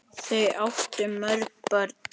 Þau áttu mörg börn.